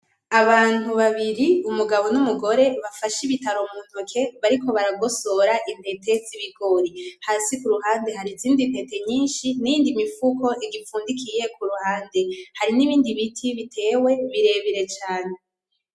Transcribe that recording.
Abantu babiri umugabo n'umugore bafashe ibitaro muntuke bariko baragosora intete z'ibigori hasi kuruhande har'izindi ntete nyinshi niyindi mufuko ipfundikiye irihande n'ibindi biti bitewe birebire cane.